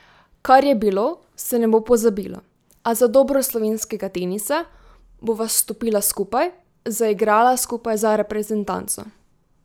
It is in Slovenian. Kar je bilo, se ne bo pozabilo, a za dobro slovenskega tenisa bova stopila skupaj, zaigrala skupaj za reprezentanco.